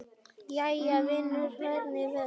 Jæja vinur, hvers vegna?